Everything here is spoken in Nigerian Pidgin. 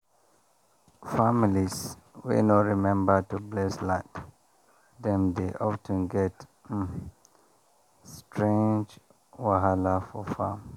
families wey no remember to bless land dem dey of ten get um strange wahala for farm.